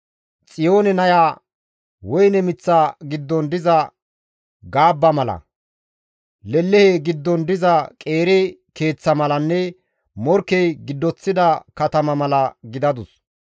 Xiyoone naya woyne miththa giddon diza gaabba mala, lelehe giddon diza qeeri keeththa malanne morkkey giddoththida katama mala gidadus.